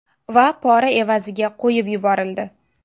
Va pora evaziga qo‘yib yuborildi.